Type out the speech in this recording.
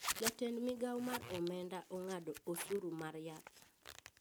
Jatend migao mar omenda ong`ado osuru mar yath